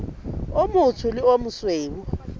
o motsho le o mosweu